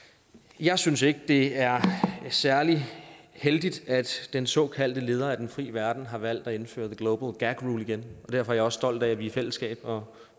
jeg synes ikke det er særlig heldigt at den såkaldte leder af den fri verden har valgt at indføre the global gag rule igen og derfor er jeg også stolt af at vi i fællesskab og